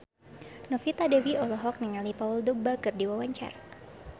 Novita Dewi olohok ningali Paul Dogba keur diwawancara